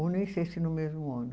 Ou nem sei se no mesmo ano.